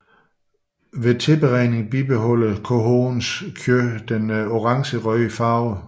Ved tilberedning bibeholder cohoens kød den orangerøde farve